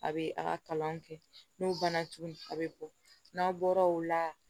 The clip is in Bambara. A bɛ a ka kalan kɛ n'u banna tuguni a bɛ bɔ n'aw bɔra o la